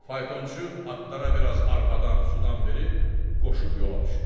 Faytonçu atlara biraz arpadan, sudan verib qoşub yola düşür.